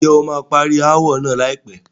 Ǹjẹ́ o máa parí ááwọ̀ náà láìpẹ́?